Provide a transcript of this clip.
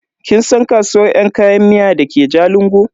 Kin san kasuwar yan kayan miya dake jalingo?